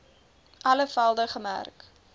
alle velde gemerk